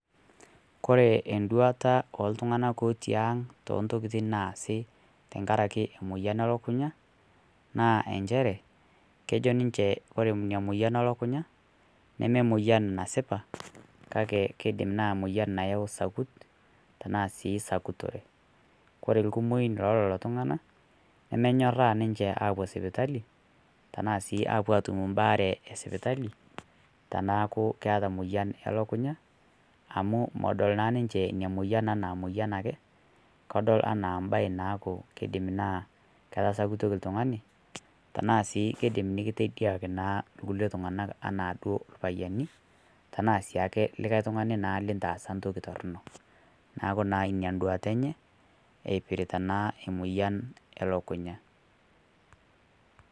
Kore enduata eltung'ana otii ang' tentokitin naasi tankarakee emoyan elakunya naa enshere kejo ninshe kore inia moyan elakunya neme moiyan nasipaa kakee keidim naa moyan nayau sakut tanaa sii sakutoree kore lkumoin leloloo tung'anaa nemenuyoraa ninshee apuo sipitalii tanaa sii apuo atum mbaare esipitalii tanaaku keata moyan elakunya amu modol naa ninshee inia moiyan anaa moiyan akee kedol enaa mbai naaku keidim naa ketasakutokii ltung'anii tanaa sii keidim nikitediakii naa lkulie tung'anak ana duo lpayenii tanaa siake likai tung'anii lintaasa ntokii tornoo naaku aaa inia nduata enye eipirita naa emoyan elokunyaa.